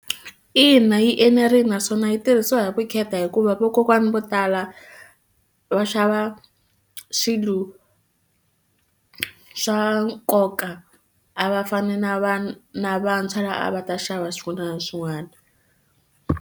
Ina, yi enerile naswona yi tirhisiwa hi vukheta hikuva vakokwana vo tala va xava swilo swa nkoka a va fani na na vantshwa lava a va ta xava swin'wana na swin'wana.